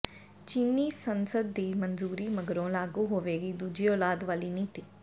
ਚੀਨੀ ਸੰਸਦ ਦੀ ਮਨਜ਼ੂਰੀ ਮਗਰੋਂ ਲਾਗੂ ਹੋਵੇਗੀ ਦੂਜੀ ਔਲਾਦ ਵਾਲੀ ਨੀਤੀ